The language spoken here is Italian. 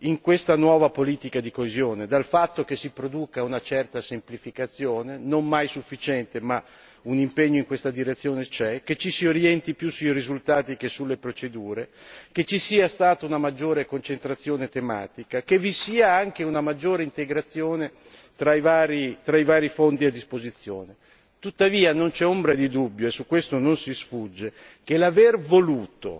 di questa nuova politica di coesione, a partire dal fatto che si produce una certa semplificazione, non mai sufficiente ma un impegno in questa direzione c'è che ci si orienti più sui risultati che sulle procedure che ci sia stata una maggiore concentrazione tematica e che vi sia anche una maggiore integrazione tra i vari fondi a disposizione. Tuttavia, non c'è ombra di dubbio e a questo non si sfugge che l'aver voluto